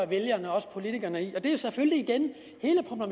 vælgerne og politikerne i